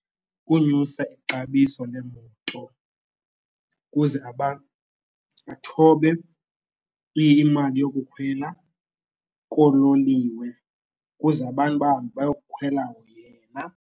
Kukonyusa ixabiso leemoto ukuze abantu bathobe imali yokukhwela koololiwe ukuze abantu bahambe bayokhwela yena.